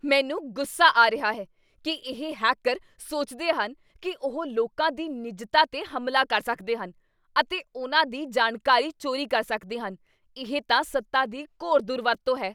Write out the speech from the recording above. ਮੈਨੂੰ ਗੁੱਸਾ ਆ ਰਿਹਾ ਹੈ ਕੀ ਇਹ ਹੈਕਰ ਸੋਚਦੇ ਹਨ ਕੀ ਉਹ ਲੋਕਾਂ ਦੀ ਨਿੱਜਤਾ 'ਤੇ ਹਮਲਾ ਕਰ ਸਕਦੇ ਹਨ ਅਤੇ ਉਨ੍ਹਾਂ ਦੀ ਜਾਣਕਾਰੀ ਚੋਰੀ ਕਰ ਸਕਦੇ ਹਨ। ਇਹ ਤਾਂ ਸੱਤਾ ਦੀ ਘੋਰ ਦੁਰਵਰਤੋਂ ਹੈ।